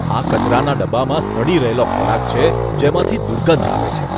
આ કચરાના ડબ્બામાં સડી રહેલો ખોરાક છે, જેમાંથી દુર્ગંધ આવે છે.